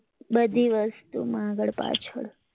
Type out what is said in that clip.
બધી વસ્તુ માં આગળ પાછળ